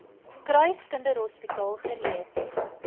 kruis kinderhospitaal gereed